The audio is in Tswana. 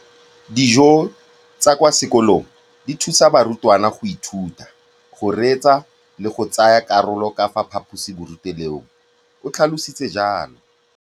Dijo tsa kwa sekolong dithusa barutwana go ithuta, go reetsa le go tsaya karolo ka fa phaposiborutelong, o tlhalositse jalo.